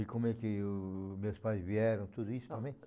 E como é que os meus pais vieram, tudo isso também?